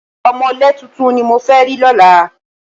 Ọ̀mọ̀lé tuntun ni mo fẹ́ rí lọ́la